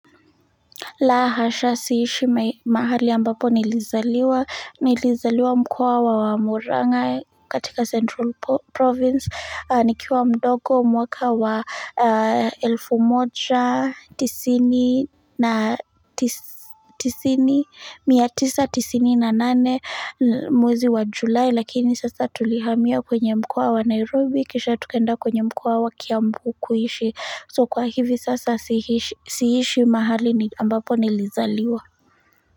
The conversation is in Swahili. La hasha siishi mahali ambapo nilizaliwa mkoa wa Muranga katika Central Province. Nikiwa mdogo mwaka wa 1198 mwezi wa Julai lakini sasa tulihamia kwenye mkoa wa Nairobi kisha tukaenda kwenye mkoa wa Kiambu kuishi. So kwa hivi sasa siishi siishi mahali ambapo nilizaliwa.